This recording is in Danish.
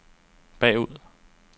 bagud